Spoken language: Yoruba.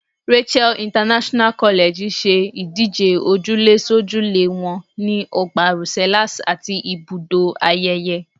Rachael International College ṣe ìdíje òjúlésójúlé wọn ní Ọgbà Rosellas àti Ibùdó Ayẹyẹ.